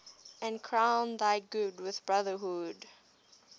and crown thy good with brotherhood